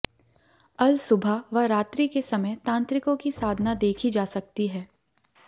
अल सुबह व रात्रि के समय तांत्रिकों की साधना देखी जा सकती है